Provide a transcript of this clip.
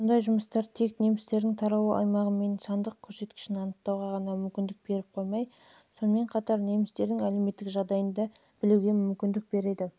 мұндай жұмыстар тек немістердің таралу аймағы мен сандық көрсеткішін анықтауға ғана мүмкіндік беріп қоймай сонымен бірге немістердің әлеуметтік